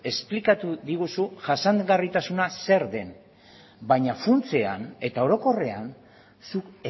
esplikatu diguzu jasangarritasuna zer den baina funtsean eta orokorrean zuk